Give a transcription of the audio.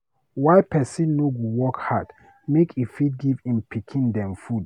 why pesin no go work hard make e fit give im pikin dem food.